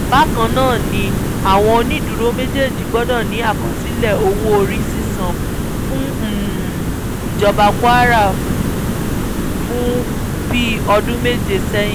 bákan náà ni àwọn onídùúró méjèèjì gbọdọ̀ ní àkọsílẹ̀ owó-orí sísan fún ìjọba kwara fún bíi ọdún méje sẹ́yìn